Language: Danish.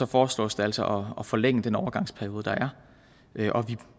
foreslås de altså at forlænge den overgangsperiode der er og vi